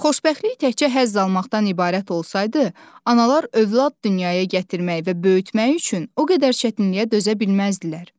Xoşbəxtlik təkcə həzz almaqdan ibarət olsaydı, analar övlad dünyaya gətirmək və böyütmək üçün o qədər çətinliyə dözə bilməzdilər.